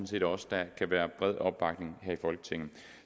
set også der kan være bred opbakning her i folketinget